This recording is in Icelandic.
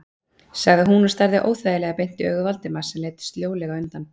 sagði hún og starði óþægilega beint í augu Valdimars sem leit sljólega undan.